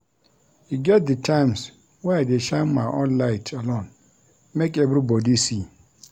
E get di times wey I dey shine my own light alone make everybodi see.